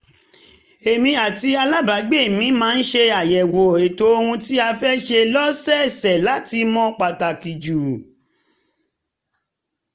èmi àti alábàágbé mi máa ń ṣe àyẹ̀wò ètò ohun tí a fẹ́ ṣe lọ́sọ̀ọ̀sẹ̀ láti mọ pàtàkì jù